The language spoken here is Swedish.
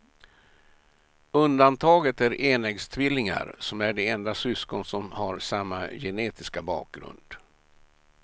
Undantaget är enäggstvillingar som är de enda syskon som har samma genetiska bakgrund.